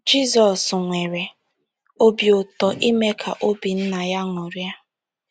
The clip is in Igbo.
Jizọs nwere obi ụtọ ime ka obi Nna ya ṅụrịa.